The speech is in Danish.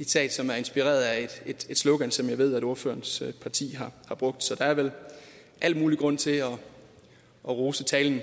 et citat som er inspireret af et slogan som jeg ved at ordførerens parti har brugt så der er vel al mulig grund til at rose talen